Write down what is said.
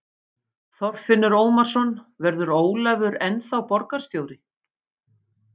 Þorfinnur Ómarsson: Verður Ólafur ennþá borgarstjóri?